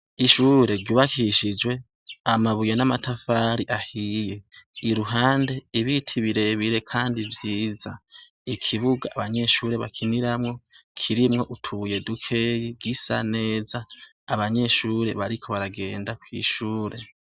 Ishure ryubakishijwe amabuye n'amatafari ahiye. Iruhande, ibiti birebire kandi vyiza. Ikibuga abanyeshure bakiniramwo, kirimwo utubuye dukeyi gisa neza. Abanyeshure bariko baragenda kw'ishure